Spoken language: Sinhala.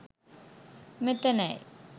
මෙතැනයි.